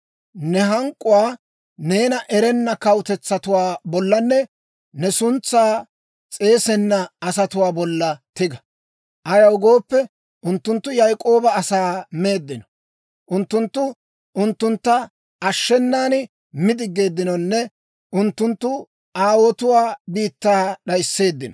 Ne hank'k'uwaa neena erenna kawutetsatuwaa bollanne ne suntsaa s'eesenna asatuwaa bolla tiga. Ayaw gooppe, unttunttu Yaak'ooba asaa meeddino; unttunttu unttuntta ashshenan mi diggeeddinonne unttunttu aawuwaa biittaa d'ayisseeddino.